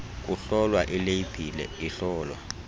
kuhlolwa ileyibhile ihlolwa